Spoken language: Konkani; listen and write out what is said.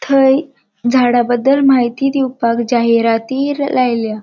थंय झाड़ाबद्दल माहिती दिवपाक जाहिराती लायल्या.